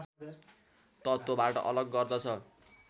तत्त्वबाट अलग गर्दछ